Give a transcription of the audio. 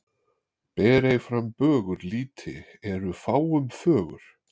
Ber ei fram bögur lýti eru fáum fögur.